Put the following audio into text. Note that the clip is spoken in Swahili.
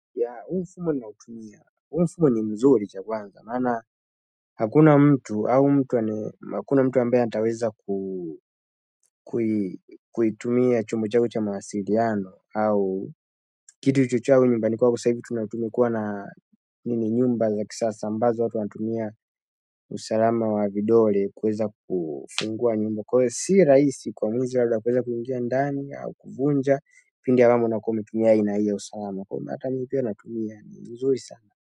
Ya, huu mfumo nautumia, huu mfumo ni mzuri cha kwanza. Maana, hakuna mtu ambaye ataweza ku. Kuitumia chombo changu cha mawasiliano, au kitu chochote au nyumbani kwa sasa hivi tumekuwa na nini. Nyumba za kisasa ambazo watu wantumia usalama wa vidole kuweza kufungua nyumba. Kwa hivyo si rahisi kwa mwizi labda kuweza kuingia ndani au kuvunja. Pindi ambamo unakuwa umetumia aina hii ya usalama. Kwa hivo hata mimi pia natumia, ni mzuri sana.